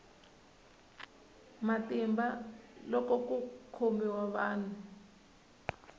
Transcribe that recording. matimba loko ku khomiwa munhu